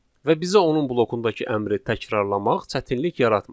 Və bizə onun blokundakı əmri təkrarlamaq çətinlik yaratmır.